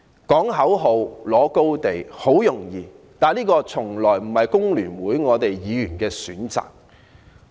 呼喊口號及佔領道德高地很容易，但這從來也不是我們工聯會議員的選擇。